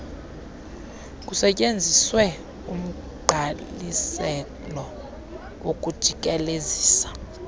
kusetyenziswe umgqaliselo wokujikelezisa